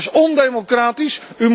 Dat is ondemocratisch.